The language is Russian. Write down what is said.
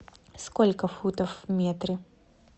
сколько футов в метре